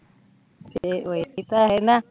ਫਿਰ ਏਹੀ ਤਾਂ ਹੈ ਨਾ